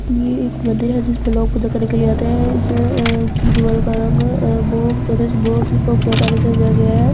यह एक मंदिर है जिसपे लोग पूजा करने के लिए आते हैं इस अ की दीवारों का रंग अ बहुत बहुत खूबसूरत से सजाया गया है इस --